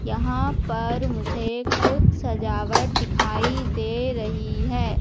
यहां पर मुझे कुछ सजावट दिखाई दे रही है।